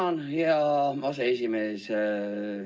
Tänan, hea aseesimees!